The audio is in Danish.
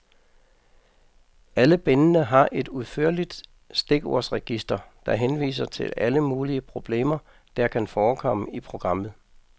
Alle bindene har et udførligt stikordsregister, der henviser til alle mulige problemer, der kan forekomme i programmet.